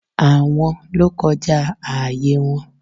Àwọn ló kọjá ààyè wọn